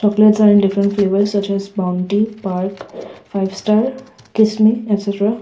chocolates are in different flavours such as bounty park five star kissme etc.